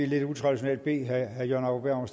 lidt utraditionelt bede herre jørgen